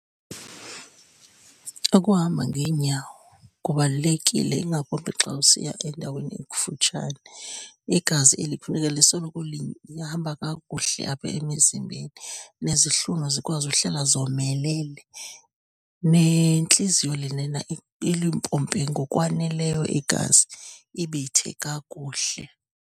Ukuhamba ngeenyawo kubalulekile ingakumbi xa usiya endaweni ekufutshane. Igazi eli kufuneka lisoloko hamba kakuhle apha emzimbeni, nezihlunu zikwazi uhlala zomelele, nentliziyo lenana ilimpompe ngokwaneleyo igazi, ibethe kakuhle.